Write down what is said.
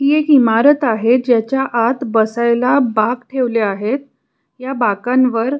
ही एक इमारत आहे जेच्या आत बसायला बाक ठेवले आहेत या बाकान वर--